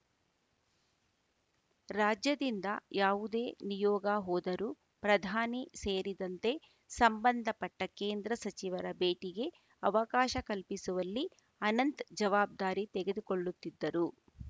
ರಾಜ್ಯದಿಂದ ಯಾವುದೇ ನಿಯೋಗ ಹೋದರೂ ಪ್ರಧಾನಿ ಸೇರಿದಂತೆ ಸಂಬಂಧಪಟ್ಟಕೇಂದ್ರ ಸಚಿವರ ಭೇಟಿಗೆ ಅವಕಾಶ ಕಲ್ಪಿಸುವಲ್ಲಿ ಅನಂತ್‌ ಜವಾಬ್ದಾರಿ ತೆಗೆದುಕೊಳ್ಳುತ್ತಿದ್ದರು